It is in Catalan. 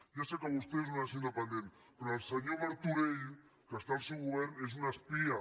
ja sé que per vostè és una nació independent però el senyor martorell que està al seu govern és un espia